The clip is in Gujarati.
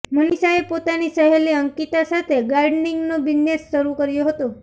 મનિષાએ પોતાની સહેલી અંકિતા સાથે ગાર્ડનિંગનો બિઝનેસ શરુ કર્યો હતો